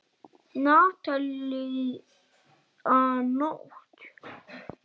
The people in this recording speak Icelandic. Natalía Nótt.